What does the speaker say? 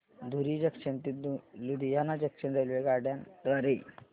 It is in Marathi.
धुरी जंक्शन ते लुधियाना जंक्शन रेल्वेगाड्यां द्वारे